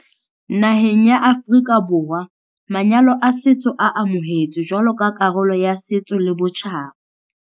Naheng ya Aforika Borwa manyalo a setso a amohetswe jwalo ka karolo ya setso le botjhaba.